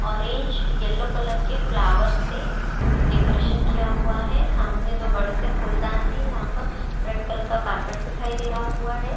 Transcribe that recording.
Orange yellow colour के flowers से decoration किया हुआ है सामने दो बड़े से फूलदान है यहां पर रेड कलर का कारपेट दिखाई दे रहा हुआ है।